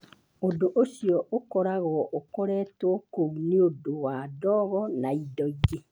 Ũndũ ũcio ũkoragwo ũkoretwo kuo nĩ ũndũ wa ndogo na indo ingĩ.